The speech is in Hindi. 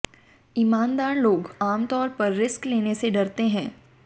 ईमानदार लोग आमतौर पर रिस्क लेने से डरते हैं